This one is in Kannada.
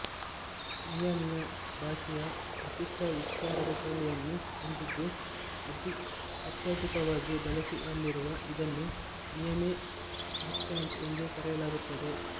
ಮಿಯಾಮಿಯ ಭಾಷೆಯು ವಿಶಿಷ್ಟ ಉಚ್ಚಾರದ ಶೈಲಿಯನ್ನು ಹೊಂದಿದ್ದು ಅತ್ಯಧಿಕವಾಗಿ ಬಳಕೆಯಲ್ಲಿರುವ ಇದನ್ನು ಮಿಯಾಮಿ ಆಕ್ಸೆಂಟ್ ಎಂದೇ ಕರೆಯಲಾಗುತ್ತದೆ